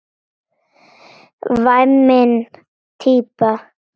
Væmin típa.